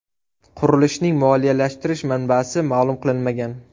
Qurilishning moliyalashtirish manbasi ma’lum qilinmagan.